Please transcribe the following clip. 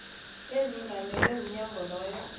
esingamele umnyango loyo